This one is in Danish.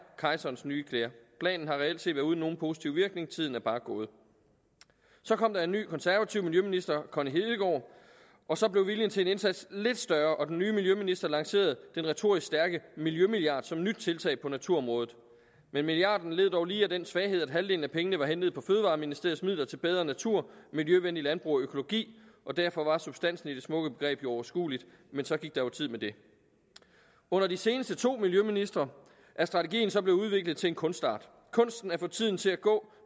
kejserens nye klæder planen har reelt set været uden nogen positiv virkning tiden er bare gået så kom der en ny konservativ miljøminister connie hedegaard og så blev viljen til en indsats lidt større og den nye miljøminister lancerede den retorisk stærke miljømilliard som nyt tiltag på naturområdet men milliarden led dog lige af den svaghed at halvdelen af pengene var hentet fra fødevareministeriets midler til bedre natur miljøvenligt landbrug og økologi og derfor var substansen i det smukke begreb overskueligt men så gik der jo tid med det under de seneste to miljøministre er strategien så blevet udviklet til en kunstart kunsten at få tiden til at gå